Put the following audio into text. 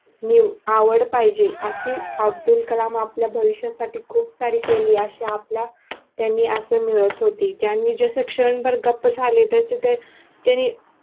आवड पाहिजे अशी अब्दुल कलाम आपल्या भविष्यासाठी खूप सारे केले अशा आपल्या त्यांनी असे मिळत होती त्यांनी जसे क्षणभर गप्प झाले तसे ते त्यांनी